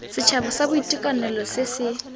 setšhaba sa boitekanelo se se